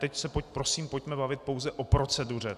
Teď se prosím pojďme bavit pouze o proceduře.